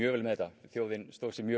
vel með þetta mjög